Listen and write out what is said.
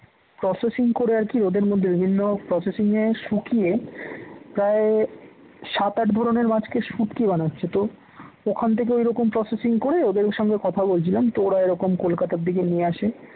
processing করে আর কি ওদের মধ্যে বিভিন্ন processing এ শুকিয়ে প্রায় সাত -আট ধরনের মাছকে শুটকি বানাচ্ছে তো ওখান থেকে ওই রকম processing করে ওদের সঙ্গে কথা বলছিলাম তো ওরা এরকম কলকাতার দিকে নিয়ে আসে